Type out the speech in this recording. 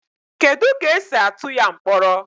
Kedu ka esi atụ ya mkpọrọ